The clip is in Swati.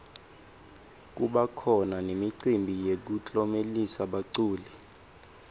kubakhona nemicimbi yekuklomelisa baculi